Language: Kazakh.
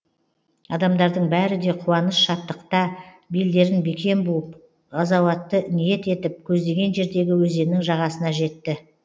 адамдардың бәрі де қуаныш шаттықта белдерін бекем буып ғазауатты ниет етіп көздеген жердегі өзеннің жағасына жетті